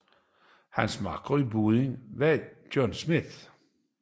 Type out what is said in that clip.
Hans makker i båden var John Schmitt